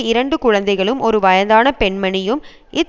இரண்டு குழந்தைகளும் ஒரு வயதான பெண்மணியும் இத்